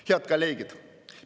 Head kolleegid!